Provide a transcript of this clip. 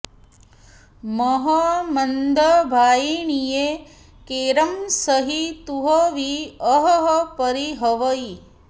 मह मंदभाइणीए केरं सहि तुह वि अहह परिहवइ